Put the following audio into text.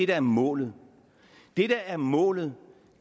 der er målet det der er målet